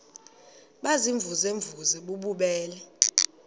baziimvuze mvuze bububele